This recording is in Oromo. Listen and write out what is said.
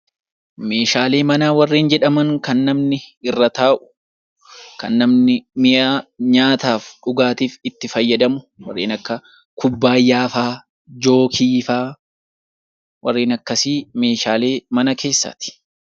Meeshaalee manaa warreen jedhaman kan namni irra taa'u, kan namni mi'aa nyaataa fi dhugaatiif itti fayyadamu, warreen akka kubbaayyaa faa , jookii faa, warreen akkasii meeshaalee mana keessaati.